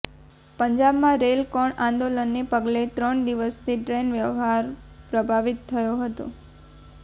પંજાબમાં રેલ રોકો આંદોલનને પગલે ત્રણ દિવસથી ટ્રેન વ્યવહાર પ્રભાવિત થયો હતો